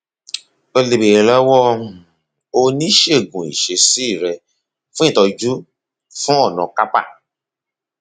o lè béèrè lọwọ um oníṣègùn ìṣesí rẹ fún ìtọjú fún ọnà carpal